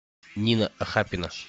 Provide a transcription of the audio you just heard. нина ахапина